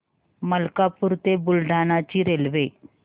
मलकापूर ते बुलढाणा ची रेल्वे